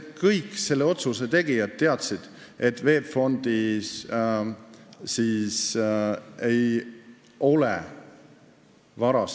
Kõik selle otsuse tegijad teadsid, et VEB Fondis ei ole mingit vara.